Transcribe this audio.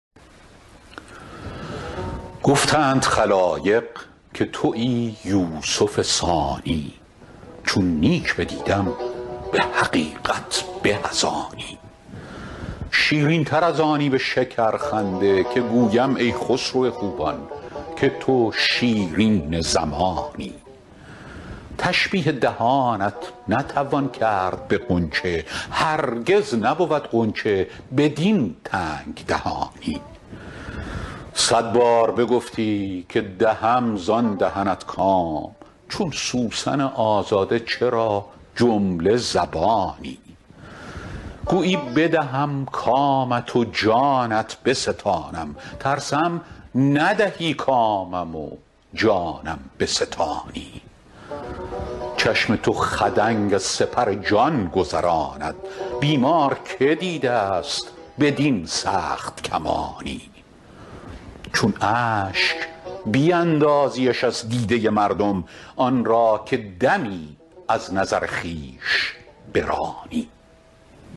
گفتند خلایق که تویی یوسف ثانی چون نیک بدیدم به حقیقت به از آنی شیرین تر از آنی به شکرخنده که گویم ای خسرو خوبان که تو شیرین زمانی تشبیه دهانت نتوان کرد به غنچه هرگز نبود غنچه بدین تنگ دهانی صد بار بگفتی که دهم زان دهنت کام چون سوسن آزاده چرا جمله زبانی گویی بدهم کامت و جانت بستانم ترسم ندهی کامم و جانم بستانی چشم تو خدنگ از سپر جان گذراند بیمار که دیده ست بدین سخت کمانی چون اشک بیندازیش از دیده مردم آن را که دمی از نظر خویش برانی